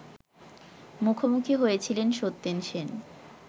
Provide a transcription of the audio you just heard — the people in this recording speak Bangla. মুখোমুখি হয়েছিলেন সত্যেন সেন